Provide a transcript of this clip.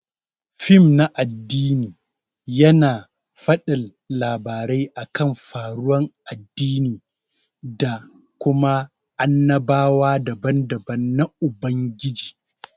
Fim na addini yana fadin labarai akan faruwan addini da Kuma annabawa daban-daban na Ubangiji.